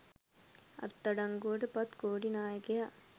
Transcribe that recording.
අත්අඩංගුවට පත් කොටි නායකයා